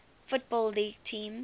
football league teams